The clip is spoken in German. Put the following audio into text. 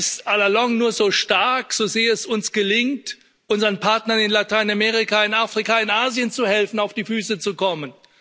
Europa ist la longue nur so stark, so sehr es uns gelingt, unseren Partnern in Lateinamerika, in Afrika, in Asien zu helfen, auf die Füße zu kommen.